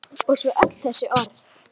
Og svo öll þessi orð.